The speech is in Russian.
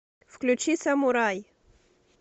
включи самурай